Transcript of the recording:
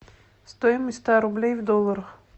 стоимость ста рублей в долларах